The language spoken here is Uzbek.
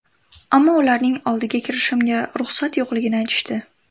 Ammo ularning oldiga kirishimga ruxsat yo‘qligini aytishdi.